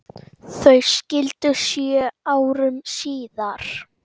Þau skildu sjö árum síðar.